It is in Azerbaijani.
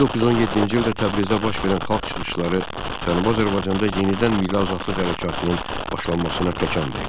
1917-ci ildə Təbrizdə baş verən xalq çıxışları Cənubi Azərbaycanda yenidən milli azadlıq hərəkatının başlanmasına təkan verdi.